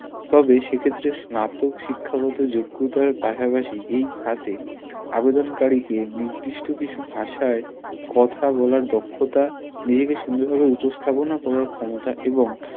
তবে সেক্ষেত্রে স্নাতক শিক্ষাগত যোগ্যতার পাশাপাশি এই খাতে আবেদন কারীকে নির্দিষ্ট কিছু ভাষায় কথা বলার দক্ষতা নিজেকে সুন্দর উপস্থাপনা করার ক্ষমতা এবং